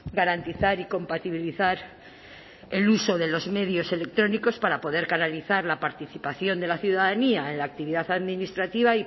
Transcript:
garantizar y compatibilizar el uso de los medios electrónicos para poder canalizar la participación de la ciudadanía en la actividad administrativa